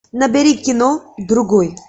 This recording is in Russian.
набери кино другой